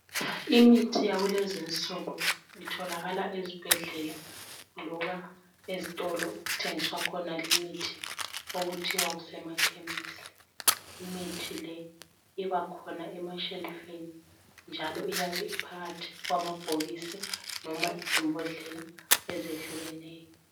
Imithi yakulezi insuku itholakala esibhedlela loba ezitolo okuthengiswa khona limithi okuthiwa kusemakhemisi. Imithi le ibakhona emashelufini njalo iyabe iphakathi kwamabhokisi noma izimbodlela ezehlukeneyo.